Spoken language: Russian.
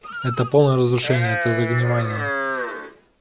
это полное разрушение это загнивание